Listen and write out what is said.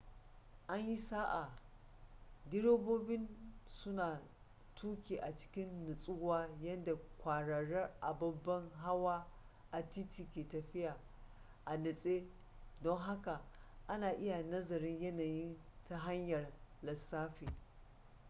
an yi sa'a direbobi su na tuki a cikin nutsuwa yadda kwararar ababen hawa a titi ke tafiya a natse don haka ana iya nazarin yanayin ta hanyar lissafi